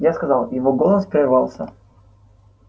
я сказал его голос прервался